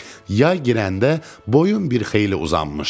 Yay girəndə boyum bir xeyli uzanmışdı.